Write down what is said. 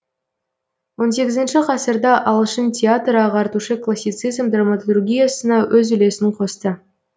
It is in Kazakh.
он сегізінші ғасырда ағылшын театры ағартушы классицизм драматургиясына өз үлесін қосты